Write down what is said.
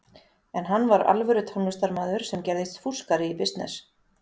En hann var alvöru tónlistarmaður sem gerðist fúskari í bisness.